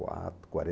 quatro,